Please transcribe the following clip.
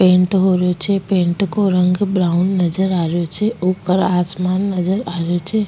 Pant हो रियो छेपेंट को रंग ब्रॉउन नजर आ रियो छे ऊपरआसमान नजर आ रियो छे।